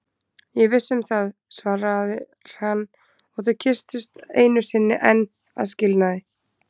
Ég er viss um það, svarar hann og þau kyssast einu sinni enn að skilnaði.